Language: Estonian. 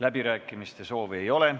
Läbirääkimiste soovi ei ole.